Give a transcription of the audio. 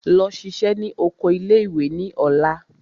Lọ ṣiṣẹ́ ní oko ilé ìwé ní ọ̀la!